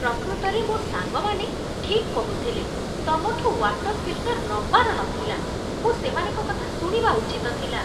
ପ୍ରକୃତରେ ମୋ' ସାଙ୍ଗମାନେ ଠିକ୍ କହୁଥିଲେ, ତମଠୁ ୱାଟର୍ ଫିଲ୍ଟର୍ ନବାର ନଥିଲା। ମୁଁ ସେମାନଙ୍କ କଥା ଶୁଣିବା ଉଚିତ ଥିଲା।